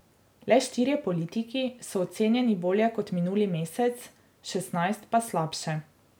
Le štirje politiki so ocenjeni bolje kot minuli mesec, šestnajst pa slabše.